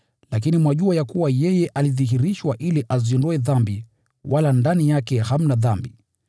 Lakini mwajua ya kuwa yeye alidhihirishwa ili aziondoe dhambi, wala ndani yake hamna dhambi.